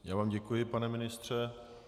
Já vám děkuji, pane ministře.